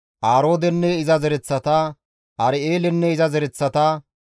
Aroodenne iza zereththata, Ar7eelenne iza zereththata.